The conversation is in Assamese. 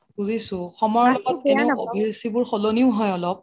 বুজিছো সময়ৰ এনেও অভিৰুচিবোৰ সলনিও হয় অলপ